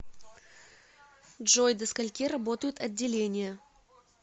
джой до скольки работают отделения